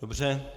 Dobře.